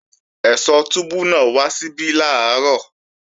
Ẹ̀sọ́ túbú náà wá síbí làárọ̀